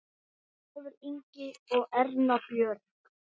Ólafur Ingi og Erna Björg.